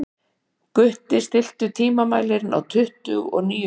Gutti, stilltu tímamælinn á tuttugu og níu mínútur.